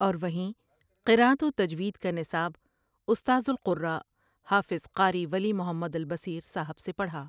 اور وہیں قراءۃ وتجویدکانصاب استاذالقرآءحافظ قاری ولی محمد البصیرصاحب سےپڑھا۔